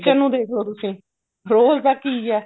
kitchen ਨੂੰ ਦੇਖਲੋ ਤੁਸੀਂ ਰੋਜ਼ ਦਾ ਕੀ ਐ